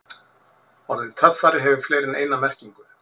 Orðið töffari hefur fleiri en eina merkingu.